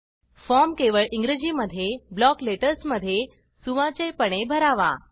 form केवळ इंग्रजीमध्ये block लेटर्समध्ये सुवाच्यपणे भरावा